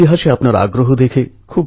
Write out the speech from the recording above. পুণ্যযাত্রা এক অদ্ভুত উৎসব